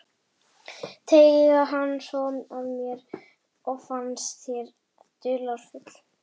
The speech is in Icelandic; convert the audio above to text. Teyga hann svo að mér og finnst ég dularfull.